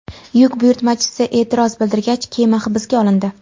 Yuk buyurtmachisi e’tiroz bildirgach, kema hibsga olindi.